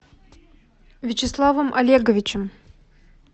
вячеславом олеговичем